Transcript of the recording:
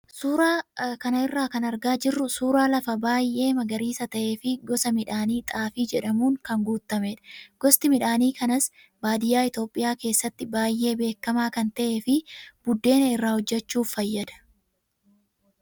Suuraa kana irraa kan argaa jirru suuraa lafa baay'ee magariisa ta'ee fi gosa midhaanii xaafii jedhamuun kan guutamedha. Gosti midhaan kanaas baadiyyaa Itoophiyaa keessatti baay'ee beekamaa kan ta'ee fi buddeena irraa hojjachuuf fayyada.